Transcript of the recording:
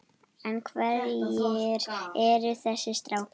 En hverjir eru þessir strákar?